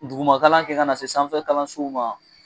Dugumakalan kɛ ka na se sanfɛ kalansow ma